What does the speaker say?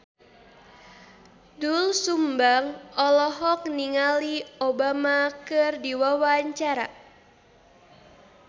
Doel Sumbang olohok ningali Obama keur diwawancara